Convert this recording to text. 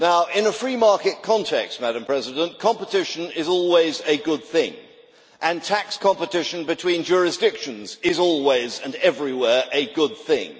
In a free market context, competition is always a good thing, and tax competition between jurisdictions is always, and everywhere, a good thing.